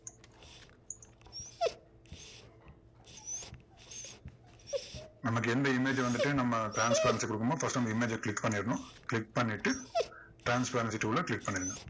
நமக்கு எந்த image அ வந்துட்டு நம்ம transparency கொடுக்கறோமோ first அந்த image அ click பண்ணிடணும் click பண்ணிட்டு transparency tool அ click பண்ணுங்க.